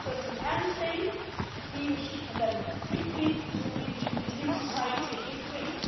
If a person can stay he or she can then quickly move into his new society and integrate.